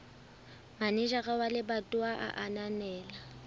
manejara wa lebatowa a ananela